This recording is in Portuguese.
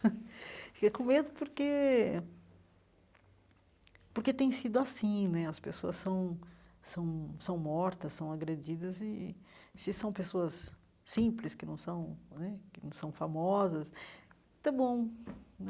fica com medo porque porque tem sido assim né, as pessoas são são são mortas, são agredidas, e e se são pessoas simples, que não são né que não são famosas, está bom.